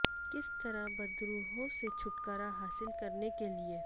کس طرح بدروحوں سے چھٹکارا حاصل کرنے کے لئے